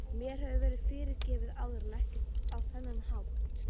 Mér hefur verið fyrirgefið áður en ekki á þennan hátt.